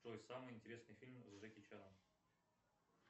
джой самый интересный фильм с джеки чаном